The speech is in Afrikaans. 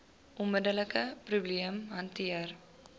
onmiddelike probleem hanteer